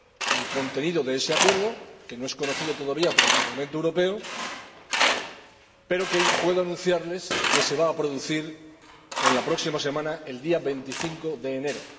del contenido de ese acuerdo, que no es conocido todavía por el Parlamento Europeo, pero puedo anunciarles que se va a producir en la próxima semana, el día 25 de enero.